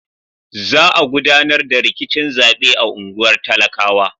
Za a gudanar da rikicin zaɓe a unguwar talakawa.